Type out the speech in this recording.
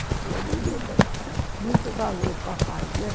Eu falei, muito bem, muito valor, papai, né?